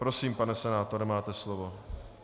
Prosím, pane senátore, máte slovo.